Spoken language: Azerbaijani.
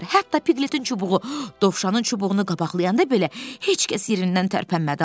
Hətta Pikletin çubuğu Dovşanın çubuğunu qabaqlayanda belə heç kəs yerindən tərpənmədi.